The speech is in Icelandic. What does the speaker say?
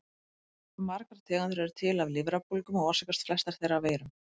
Margar tegundir eru til af lifrarbólgum og orsakast flestar þeirra af veirum.